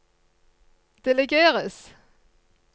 delegeres